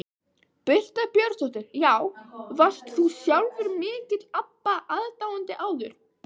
Birta Björnsdóttir: Já, varst þú sjálfur mikill Abba aðdáandi áður?